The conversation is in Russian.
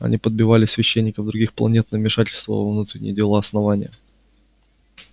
они подбивали священников других планет на вмешательство во внутренние дела основания